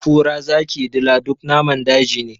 Kura, zaki, dila duk namun daji ne.